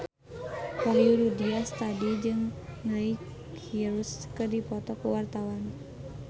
Wahyu Rudi Astadi jeung Miley Cyrus keur dipoto ku wartawan